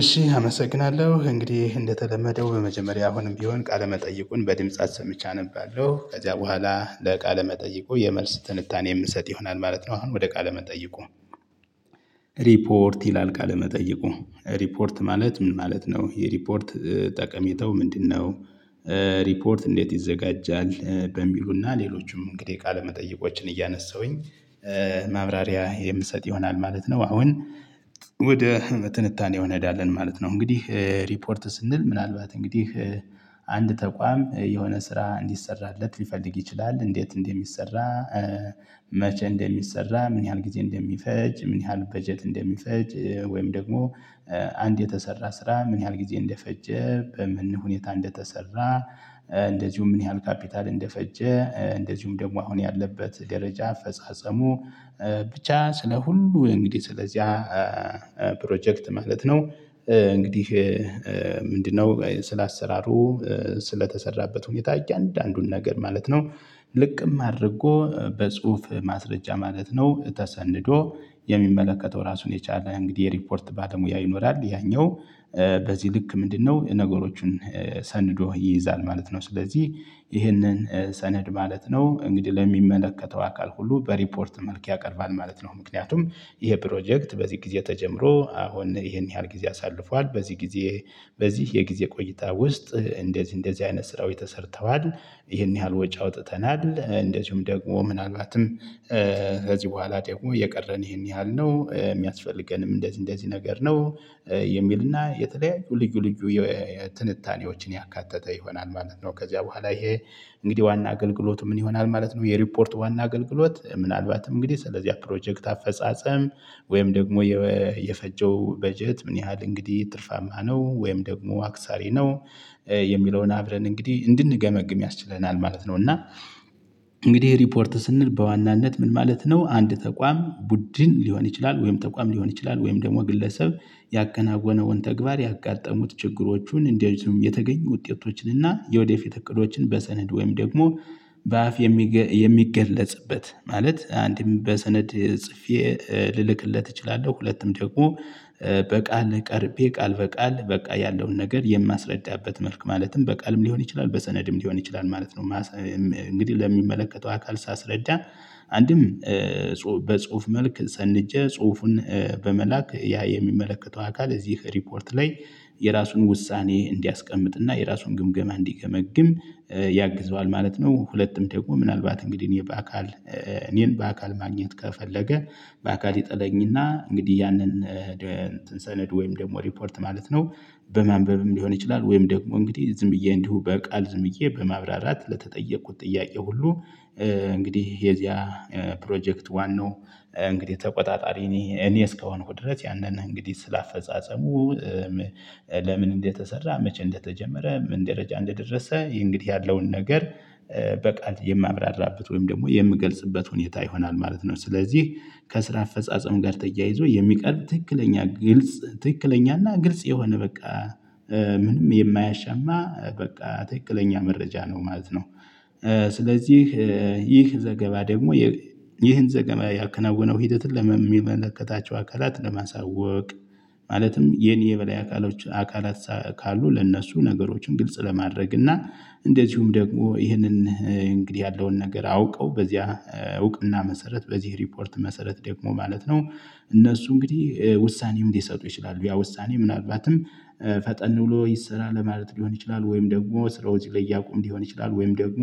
እሺ አመሰግናለሁ እንግዲህ እንደተለመደው በመጀመሪያ አሁንም ቢሆን ቃለ መጠይቁን በድምጽ አሰምቼ አነባለሁ ከዚያ በኋላ ለቃለ መጠይቁ የመልስ ትንታኔ የምሰጥ ይሆናል ማለት ነው። አሁን ወደ ቃለ መጠይቁ ሪፖርት ይላል ቃለመጠየቁ ሪፖርት ማለት ምን ማለት ነው የሪፖርት ጠቀሜታው ምንድነው? ሪፖርት እንዴት ይዘጋጃል? በሚሉና ሌሎችም እንግዲህ ቃለመጠይቆችን እያነሳሁኝ ማብራሪያ የምሰጥ ይሆናል ማለት ነው። አሁን ወደ ትንታኔው እንሄዳለን ማለት ነው። እንግዲህ ሪፖርት ስንል ምናልባት እንግዲህ አንድ ተቋም የሆነ ስራ እንዲሰራለት ሊፈልግ ይችላል። እንዴት እንደ ሚሰራ? መቼ እንደሚሰራ ምን ያህል ጊዜ እንደሚፈጅ ምን ያህል በጀት እንደሚፈጅ? ወይም ደግሞ አንድ የተሰራ ስራ ምን ያህል ጊዜ እንደፈጀ? በምን ሁኔታ እንደተሰራ? እንደዚሁም ምን ያህል ካፒታል እንደፈጀ? እንደዚሁም ደግሞ አሁን ያለበት ደረጃ አፈጻጸሙ። ብቻ ስለ ሁሉ እንግዲህ ስለዚያ ፕሮጀክት ማለት ነው። እንግዲህ ምንድነው? ስለ አሰራሩ ስለተሰራበት ሁኔታ እያንዳንዱን ነገር ማለት ነው። ልቅም አድርጎ በጽሁፍ ማስረጃ ማለት ነው። ተሰንዶ የሚመለከተው ራሱን የቻለ እንግዲህ የሪፖርት ባለሙያ ይኖራል። ያኛው በዚህ ልክ ምንድነው? ነገሮችን ሰንዶ ይይዛል ማለት ነው። ስለዚህ ይህንን ሰነድ ማለት ነው። እንግዲህ ለሚመለከተው አካል ሁሉ በሪፖርት መልክ ያቀርባል ማለት ነው። ምክንያቱም ይሄ ፕሮጀክት በዚህ ጊዜ ተጀምሮ አሁን ይሄን ያህል ጊዜ አሳልፏል በዚህ ጊዜ በዚህ የጊዜ ቆይታ ውስጥ እንደዚህ እንደዚህ አይነት ስራዎች ተሰርተዋል። ይሄን ያህል ወጪ አውጥተናል። እንደዚሁም ደግሞ ምናልባትም ከዚህ በኋላ ደግሞ የቀረን ይሄን ያህል ነው የሚያስፈልገንም እንደዚህ እንደዚህ ነገር ነው። የሚልና የተለያዩ ልዩ ልዩ ትንታኔዎችን ያካተተ ይሆናል ማለት ነው። ከዚያ በኋላ ይሄ እንግዲህ ዋና አገልግሎት ምን ይሆናል ማለት ነው። የሪፖርት ዋና አገልግሎት ምናልባትም እንግዲህ ስለዚያ ፕሮጀክት አፈጻጸም ወይም ደግሞ የፈጀው በጀት ምን ያህል እንግዲህ ትርፋማ ነው ወይም ደግሞ አክሳሪ ነው። የሚለውን አብረን እንግዲህ እንድንገመግም ያስችለናል ማለት ነው። እና እንግዲህ ሪፖርት ስንል በዋናነት ምን ማለት ነው። አንድ ተቋም ቡድን ሊሆን ይችላል ወይም ተቋም ሊሆን ይችላል ወይም ደግሞ ግለሰብ ያከናወነውን ተግባር ያጋጠሙት ችግሮቹን እንደዚሁም የተገኙ ውጤቶችን እና የወደፊት እቅዶችን በሰነድ ወይም ደግሞ በአፍ የሚገለጽበት ማለት አንድም በሰነድ ጽፌ ልልክለት እችላለሁ ሁለትም ደግሞ በቃል ቀርቤ ቃል በቃል በቃ ያለውን ነገር የማስረዳበት መልክ ማለትም በቃልም ሊሆን ይችላል በሰነድም ሊሆን ይችላል ማለት ነው። እንግዲህ ለሚመለከተው አካል ሳስረዳ አንድም በጽሁፍ መልክ ሰንጀ ጽሁፉን በመላክ ያ የሚመለከተው አካል እዚህ ሪፖርት ላይ የራሱን ውሳኔ እንዲያስቀምጥና የራሱን ግምገማ እንዲገመግም ያግዘዋል ማለት ነው። ሁለትም ደግሞ ምናልባት እንግዲህ እኔ በአካል እኔን በአካል ማግኘት ከፈለገ በአካል ይጥለኝና እንግዲህ ያንን ሰነድ ወይም ደግሞ ሪፖርት ማለት ነው። በማንበብም ሊሆን ይችላል ወይም ደግሞ እንግዲህ ዝም ብዬ እንዲሁ በቃል ዝም ብዬ በማብራራት ለተጠየኩት ጥያቄ ሁሉ። እንግዲህ የዚያ ፕሮጀክት ዋናው እንግዲህ ተቆጣጣሪ እኔ እኔ እስከሆንኩ ድረስ ያንን እንግዲህ ስለ አፈጻጸሙ። ለምን እንደተሰራ መቼ እንደተጀመረ ምን ደረጃ እንደደረሰ ይሄ እንግዲህ ያለውን ነገር በቃል የማብራራበት ወይም ደግሞ የምገልጽበት ሁኔታ ይሆናል። ማለት ነው። ስለዚህ ከስራ አፈጻጸም ጋር ተያይዞ የሚቀርብ ትክክለኛ ግልጽ ትክክለኛና ግልጽ የሆነ በቃ ምንም የማያሻማ በቃ ትክክለኛ መረጃ ነው ማለት ነው። ስለዚህ ይህ ዘገባ ደግሞ ይህን ዘገባ ያከናወነው ሂደትን ለሚመለከታቸው አካላት ለማሳወቅ ማለትም የኔ የበላይ አካሎች አካላት ካሉ ለእነሱ ነገሮችን ግልጽ ለማድረግ እና እንደዚሁም ደግሞ ይህንን እንግዲህ ያለውን ነገር አውቀው በዚያ እውቅና መሰረት በዚህ ሪፖርት መሰረት ደግሞ ማለት ነው። እነሱ እንግዲህ ውሳኔም ሊሰጡ ይችላሉ። ያ ውሳኔ ምናልባትም ፈጠን ብሎ ይሰራ ለማለት ሊሆን ይችላል። ወይም ደግሞ ስራዎች ላይ ያቁም ሊሆን ይችላል። ወይም ደግሞ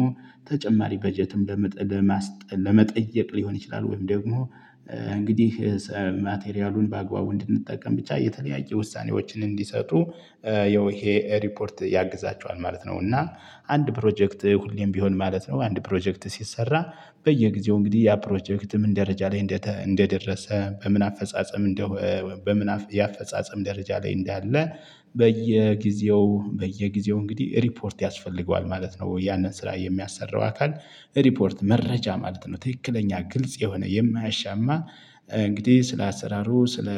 ተጨማሪ በጀትም ለመጠየቅ ሊሆን ይችላል። ወይም ደግሞ እንግዲህ ማቴሪያሉን በአግባቡ እንድንጠቀም ብቻ የተለያየ ውሳኔዎችን እንዲሰጡ ያው ይሄ ሪፖርት ያግዛቸዋል ማለት ነው። እና አንድ ፕሮጀክት ሁሌም ቢሆን ማለት ነው አንድ ፕሮጀክት ሲሰራ። በየጊዜው እንግዲህ ያ ፕሮጀክት ምን ደረጃ ላይ እንደደረሰ በምን አፈጻጸም እንደው በምን የአፈጻጸም ደረጃ ላይ እንዳለ በየጊዜው በየጊዜው እንግዲህ ሪፖርት ያስፈልገዋል ማለት ነው። ያንን ስራ የሚያሰራው አካል ሪፖርት መረጃ ማለት ነው ትክክለኛ ግልጽ የሆነ የማያሻማ እንግዲህ ስለ አሰራሩ ስለ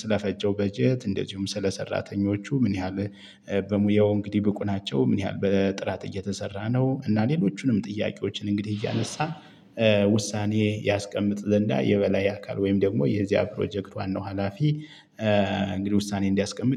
ስለፈጨው በጀት እንደዚሁም ስለ ሰራተኞቹ ምን ያህል በሙያው እንግዲህ ብቁ ናቸው። ምን ያህል በጥራት እየተሰራ ነው። እና ሌሎቹንም ጥያቄዎችን እንግዲህ እያነሳ ውሳኔ ያስቀምጥ ዘንዳ የበላይ አካል ወይም ደግሞ የዚያ ፕሮጀክት ነው ሀላፊ እንግዲህ ውሳኔ እንዲያስቀምጥ